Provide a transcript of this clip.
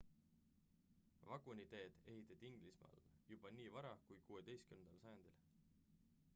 vaguniteed ehitati inglismaal juba nii vara kui 16 sajandil